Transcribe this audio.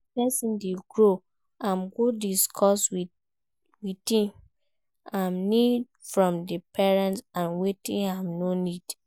As persin de grow im go discuss wetin im need from di parents and wetin im no need